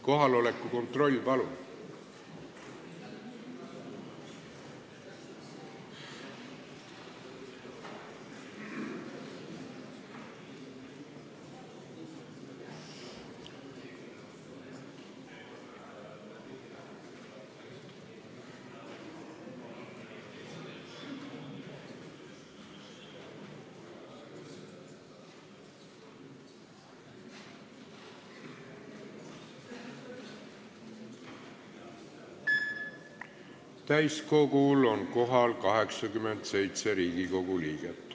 Kohaloleku kontroll Täiskogul on kohal 87 Riigikogu liiget.